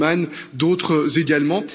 Bullmann, d'autres également.